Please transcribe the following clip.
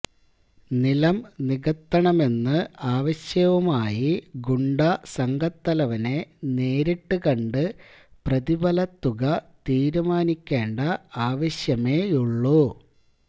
നിലംനികത്തണമെന്ന് ആവശ്യവുമായി ഗുണ്ടാസംഘത്തലവനെ നേരിട്ട് കണ്ട് പ്രതിഫലത്തുക തീരുമാനിക്കേണ്ട ആവശ്യമേയുള്ളൂ